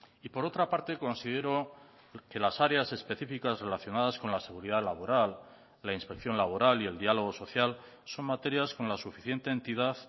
y por otra parte considero que las áreas específicas relacionadas con la seguridad laboral la inspección laboral y el diálogo social son materias con la suficiente entidad